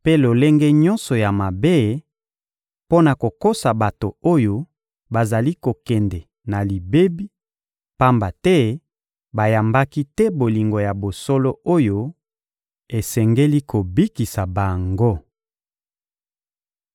mpe lolenge nyonso ya mabe, mpo na kokosa bato oyo bazali kokende na libebi, pamba te bayambaki te bolingo ya bosolo oyo esengeli kobikisa bango.